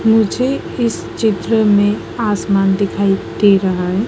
मुझे इस चित्र में आसमान दिखाई दे रहा है।